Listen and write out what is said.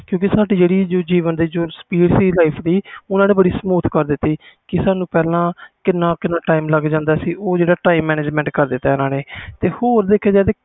ਕਿਉਕਿ ਸਾਡੇ ਜਿਹੜੇ life speed ਸੀ ਓਹਨਾ ਨੇ smooth ਕਰ ਦਿੱਤੀ ਸੀ ਕਿ ਸਾਨੂ ਪਹਿਲਾ ਕਿੰਨਾ ਕਿੰਨਾ time ਲੱਗਦਾ ਸੀ ਉਹ ਜਿਹੜਾ time management ਕਰ ਦਿੱਤਾ ਆ